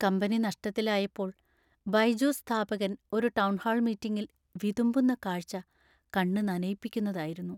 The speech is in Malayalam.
കമ്പനി നഷ്ടത്തിലായപ്പോൾ ബൈജൂസ് സ്ഥാപകൻ ഒരു ടൗൺഹാൾ മീറ്റിംഗിൽ വിതുമ്പുന്ന കാഴ്ച്ച കണ്ണ് നനയിപ്പിക്കുന്നതായിരുന്നു.